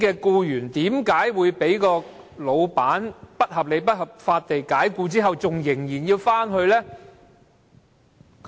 僱員被僱主不合理及不合法解僱後，為何仍然想復職呢？